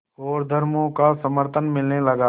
और धर्मों का समर्थन मिलने लगा